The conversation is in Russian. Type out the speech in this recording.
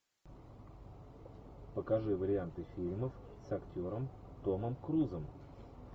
покажи варианты фильмов с актером томом крузом